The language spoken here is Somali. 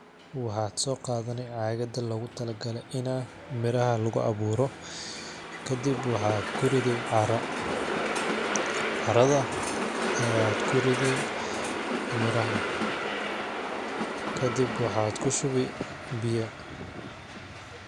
Waxaad soo qaadani caagada loogu tala gale inaa miraha lagu awuuro kadib waxaad ku ridi carra ,carrada ayaad ku ridi miraha kadib waxaad ku shubi biya .